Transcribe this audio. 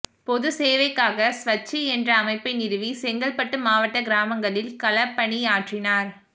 பொதுச்சேவைக்காக ஸ்வச்சித் என்ற அமைப்பை நிறுவி செங்கல்பட்டு மாவட்ட கிராமங்களில் களப்பணி ஆற்றினார்